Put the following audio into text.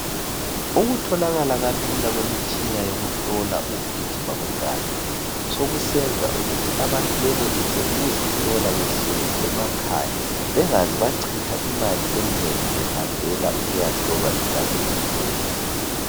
Ukutholakala kalula kwemitshina yokuhlola ukugijima kwegazi sokusenza ukuthi abantu benelise ukuzihlola behleli emakhaya, bengaze bachitha imali enengi behambela ukuyahlolwa igazi kuphela.